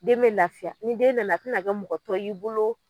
Den be lafiya ni den nana i tina kɛ mɔgɔtɔ y'i bolo